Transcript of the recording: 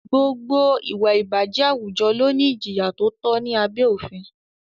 Gbogbo ìwà ìbàjẹ́ àwùjọ ló ní ìjìyà tó tọ́ ní abé òfin.